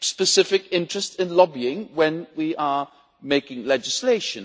specific interests in lobbying when we are making legislation.